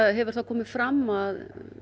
hefur það komið fram að